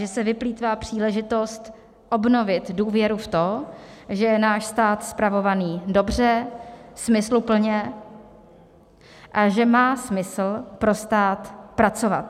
Že se vyplýtvá příležitost obnovit důvěru v to, že je náš stát spravovaný dobře, smysluplně a že má smysl pro stát pracovat.